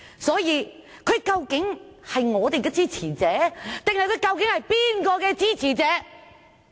所以，他究竟是我們的支持者，還是哪一方的支持者？